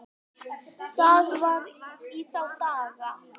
Það var í þá daga!